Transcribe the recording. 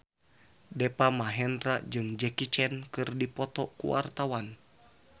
Deva Mahendra jeung Jackie Chan keur dipoto ku wartawan